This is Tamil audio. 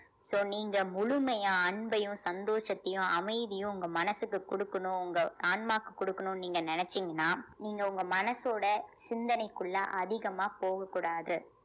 so நீங்க முழுமையா அன்பையும் சந்தோஷத்தையும் அமைதியும் உங்க மனசுக்கு குடுக்கணும் உங்க ஆன்மாவுக்கு குடுக்கணும்னு நீங்க நினைச்சீங்கன்னா நீங்க உங்க மனசோட சிந்தனைக்குள்ள அதிகமா போகக் கூடாது